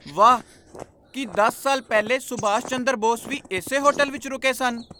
ਵਾਹ ! ਕੀ ਦਸ ਸਾਲ ਪਹਿਲੇ ਸੁਭਾਸ਼ ਚੰਦਰ ਬੋਸ ਵੀ ਇਸੇ ਹੋਟਲ ਵਿਚ ਰੁਕੇ ਸਨ?